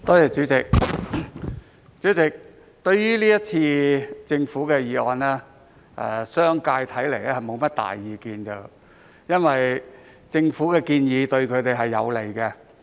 主席，對於政府提出的議案，看來商界並無多大意見，因為政府的建議對他們有利。